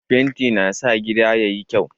Fenti na sa gida yayi kyau